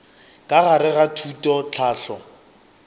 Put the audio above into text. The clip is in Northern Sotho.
ka gare ga thuto tlhahlo